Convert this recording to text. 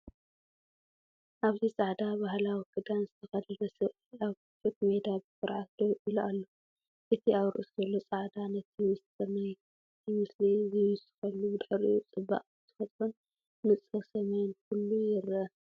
ኣብዚ ጻዕዳ ባህላዊ ክዳን ዝተኸድነ ሰብኣይ ኣብ ክፉት ሜዳ ብኹርዓት ደው ኢሉ ኣሎ። እቲ ኣብ ርእሱ ዘሎ ጻዕዳ ነቲ ምስጢር ናይቲ ምስሊ ይውስኸሉ፤ ብድሕሪኡ ጽባቐ ተፈጥሮን ንጹር ሰማይን ኩሉ ይርአ።